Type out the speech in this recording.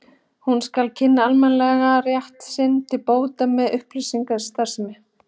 Hún skal kynna almenningi rétt sinn til bóta með upplýsingastarfsemi.